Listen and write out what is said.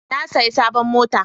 Na saya sabon mota